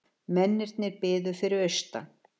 Mennirnir biðu fyrir austan.